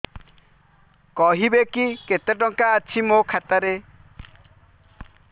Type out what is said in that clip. କହିବେକି କେତେ ଟଙ୍କା ଅଛି ମୋ ଖାତା ରେ